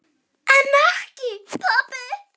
En ekki pabbi.